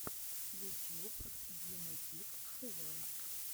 ютьюб дима кидс тэ вэ